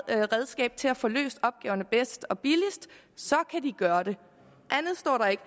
er et redskab til at få løst opgaverne bedst og billigst så kan de gøre det andet står der ikke